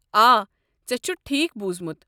آ، ژےٚ چھُتھ ٹھیٖکھ بوٗزمُت۔